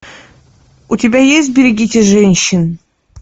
у тебя есть берегите женщин